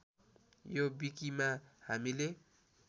यो विकिमा हामीले